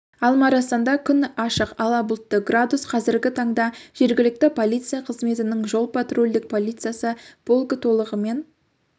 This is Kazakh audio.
алма-арасанда күн ашық ала бұлтты градус қазіргі таңда жергілікті полиция қызметінің жол патрульдік полициясы полкі толығымен